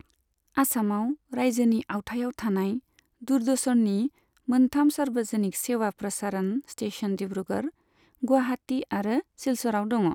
आसामाव रायजोनि आवथायाव थानाय दूरदर्शननि मोनथाम सार्वजनिक सेवा प्रसारण स्टेशन डिब्रूगढ़, गुवाहाटी आरो सिलचरआव दङ।